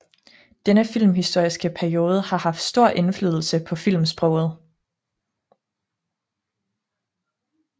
Denne filmhistoriske periode har haft stor indflydelse på filmsproget